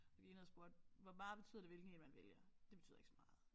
Så gik jeg ned og spurgte hvor meget betyder det hvilken en man vælger det betyder ikke så meget